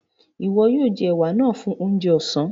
Iwọ̀ yoo jẹ̀ è̩wà náà fún ọ̀njẹ̀ ọ̀sán.